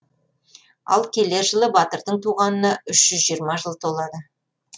ал келер жылы батырдың туғанына үш жүз жиырма жыл толады